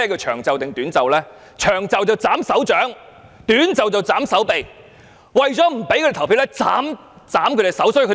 "長袖"是斬手掌，"短袖"是斬手臂，為了不讓他們投票，便把他們的手斬掉。